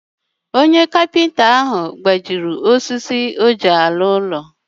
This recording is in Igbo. Onye ọkwá nkà ahu gbajiri osisi oji alu olu.